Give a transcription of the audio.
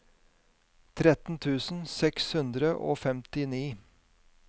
tretten tusen seks hundre og femtini